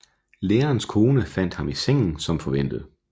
Lærerens kone fandt ham i sengen som forventet